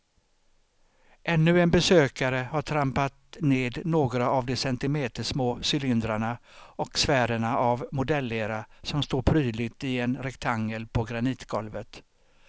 Ännu en besökare har trampat ned några av de centimetersmå cylindrarna och sfärerna av modellera som står prydligt i en rektangel på granitgolvet.